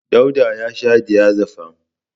Dauda ya sha diazefam.